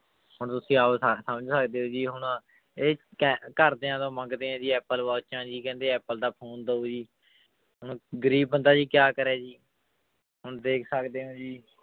ਹੁਣ ਤੁਸੀਂ ਆਪ ਸਾਰੇ ਸਮਝ ਸਕਦੇ ਹੋ ਜੀ ਹੁਣ ਇਹ ਕ ਘਰਦਿਆਂ ਤੋਂ ਮੰਗਦੇ ਹੈ ਜੀ apple ਵਾਚਾਂ ਜੀ ਕਹਿੰਦੇ apple ਦਾ phone ਦਓ ਜੀ, ਹੁਣ ਗ਼ਰੀਬ ਬੰਦਾ ਜੀ ਕਿਆ ਕਰੇ ਜੀ ਹੁਣ ਦੇਖ ਸਕਦੇ ਹੋ ਜੀ